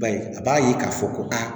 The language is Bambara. Ba ye a b'a ye k'a fɔ ko aa